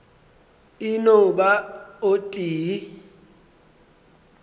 e no ba o tee